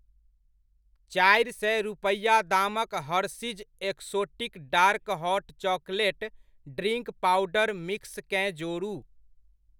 चारि सय रूपैआ दामक Hershey's exotic dark hot chocolate drink powder मिक्सकेँ जोड़ू।